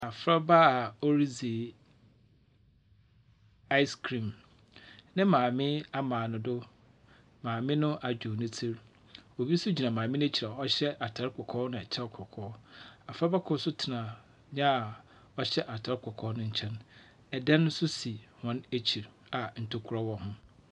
Abofra ba ɔrede ice cream. Ne maame ama ne do. Maame no a.